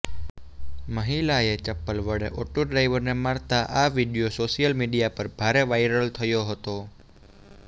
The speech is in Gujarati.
મહિલાએ ચપ્પલ વડે ઓટો ડ્રાઈવરને મારતા આ વીડિયો સોશિયલ મીડિયા પર ભારે વાયરલ થયો હતો